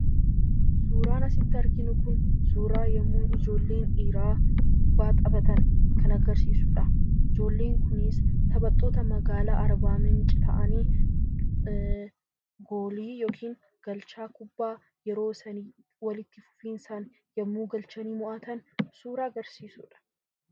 Suuraan asitti arginu kun suuraa yommuu ijoolleen dhiiraa kubbaa taphatan kan agarsiisudha. Ijoolleen kunis taphattoota magaalaa arbaa miinci ta'anii goolii yookiin galchaa kubbaa yeroo isaan walitti fufinsaan yommuu galchanii mo'atan suura agarsiisudha.